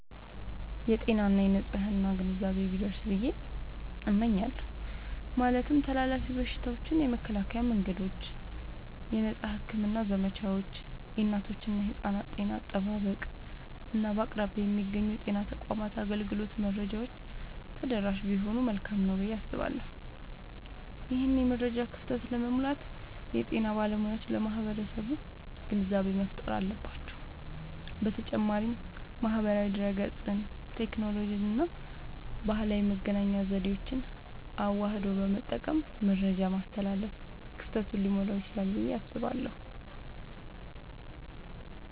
የጤና እና የንፅህና ግንዛቤ ቢደርስ ብየ እመኛለሁ። ማለትም ተላላፊ በሽታዎችን የመከላከያ መንገዶች፣ የነፃ ሕክምና ዘመቻዎች፣ የእናቶችና የሕፃናት ጤና አጠባበቅ፣ እና በአቅራቢያ የሚገኙ የጤና ተቋማት አገልግሎት መረጃዎች ተደራሽ ቢሆኑ መልካም ነዉ ብየ አስባለሁ። ይህንን የመረጃ ክፍተት ለመሙላት የጤና ባለሙያዎች ለማህበረሰቡ ግንዛቤ መፍጠር አለባቸዉ። በተጨማሪም ማህበራዊ ድህረገጽን፣ ቴክኖሎጂንና ባህላዊ የመገናኛ ዘዴዎችን አዋህዶ በመጠቀም መረጃን ማስተላለፍ ክፍተቱን ሊሞላዉ ይችላል ብየ አስባለሁ።